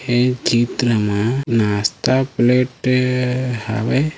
ए चित्र म नास्ता प्लेट हावे ।